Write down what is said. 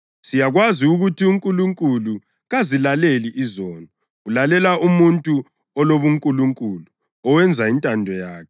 Siyakwazi ukuthi uNkulunkulu kazilaleli izoni. Ulalela umuntu olobunkulunkulu, owenza intando yakhe.